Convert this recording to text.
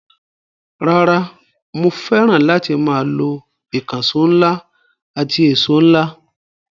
Rara, mo fẹ́ràn láti máa lo ìkànṣọ́ ńlá àti ẹ̀ṣo ńlá.